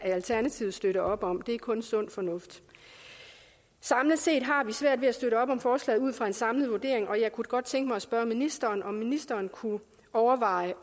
i alternativet støtte op om det er kun sund fornuft samlet set har vi svært ved at støtte op om forslaget ud fra en samlet vurdering og jeg kunne da godt tænke mig at spørge ministeren om ministeren kunne overveje